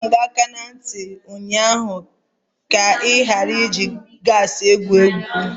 Adọro m gị aka na ntị ụnyaahụ ka ị ghara iji gasi egwu egwu!